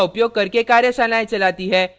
spoken tutorials का उपयोग करके कार्यशालाएं चलाती है